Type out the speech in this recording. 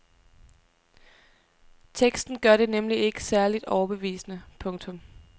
Teksten gør det nemlig ikke særligt overbevisende. punktum